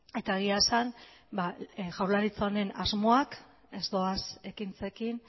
eta egia esan jaurlaritza honen asmoak ez doaz ekintzekin